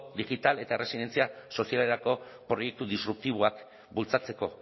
digital eta erresilientzia sozialerako proiektu disruptiboak bultzatzeko